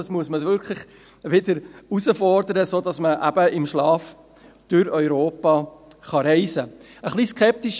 Man muss dies fordern, damit man wieder im Schlaf durch Europa reisen kann.